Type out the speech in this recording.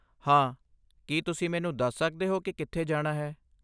ਹਾਂ, ਕੀ ਤੁਸੀਂ ਮੈਨੂੰ ਦੱਸ ਸਕਦੇ ਹੋ ਕਿ ਕਿੱਥੇ ਜਾਣਾ ਹੈ?